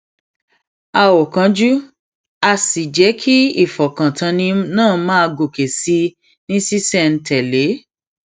a um ò kánjú a sì jẹ kí ìfọkàntánni náà máa gòkè sí i ní ṣísẹntèlé